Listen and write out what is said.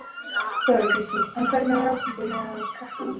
Þóra Kristín: En hvernig var ástandið meðal krakkanna?